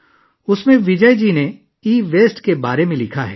اس میں وجے جی نے e waste کے بارے میں لکھا ہے